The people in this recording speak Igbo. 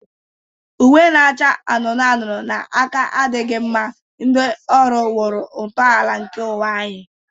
Uwe na-acha anụnụ anụnụ na aka adịghị mma, ndị ọrụ wuru ntọala nke ụwa anyị.